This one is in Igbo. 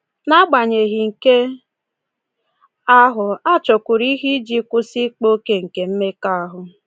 N'agbanyeghị nke ahụ, a chọkwuru ihe iji kwụsị ịkpa oke nke mmekọahụ.